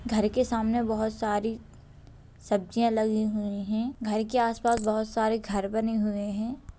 घर के सामने बहोत सारी सब्जियां लगी हुई है। घर के आस-पास बहोत सारे घर बने हुए हैं।